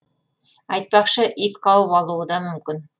айтпақшы ит қауіп алуы да мүмкін